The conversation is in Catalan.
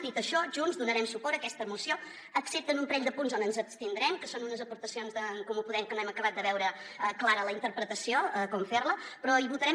dit això junts donarem suport a aquesta moció excepte en un parell de punts on ens abstindrem que són unes aportacions d’en comú podem que no hem acabat de veure clara la interpretació com fer la però hi votarem